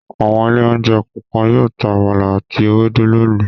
Àwọn ilé-oúnjẹ kọ̀ọ̀kan yóò ta àmàlà àti ewédú lónìí.